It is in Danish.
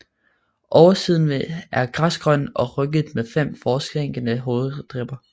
Oversiden er græsgrøn og rynket med fem forsænkede hovedribber